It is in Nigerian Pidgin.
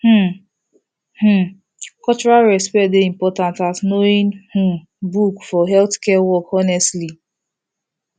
um um cultural respect dey important as knowing um book for healthcare work honestly